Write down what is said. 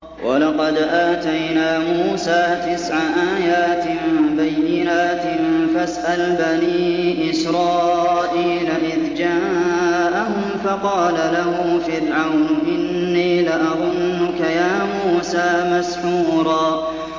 وَلَقَدْ آتَيْنَا مُوسَىٰ تِسْعَ آيَاتٍ بَيِّنَاتٍ ۖ فَاسْأَلْ بَنِي إِسْرَائِيلَ إِذْ جَاءَهُمْ فَقَالَ لَهُ فِرْعَوْنُ إِنِّي لَأَظُنُّكَ يَا مُوسَىٰ مَسْحُورًا